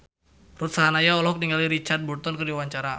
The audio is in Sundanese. Ruth Sahanaya olohok ningali Richard Burton keur diwawancara